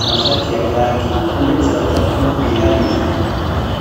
amashati ya kaki uretse batatu bihariye.